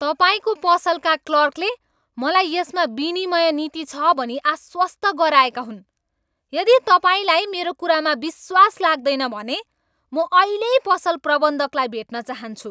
तपाईँको पसलका क्लर्कले मलाई यसमा विनिमय नीति छ भनी आश्वस्त गराएका हुन्। यदि तपाईँलाई मेरो कुरामा विश्वास लाग्दैन भने म अहिल्यै पसल प्रबन्धकलाई भेट्न चाहन्छु।